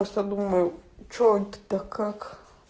просто думаю что это как